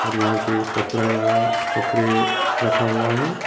और यहां पे ये कपड़ा कपड़े रखा हुआ है।